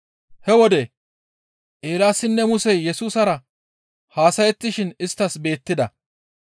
He wode Eelaasinne Musey Yesusara haasayettishe isttas beettida.